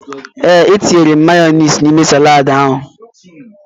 Ee, e tiri m mayọniisi n'ime saladi ahụ.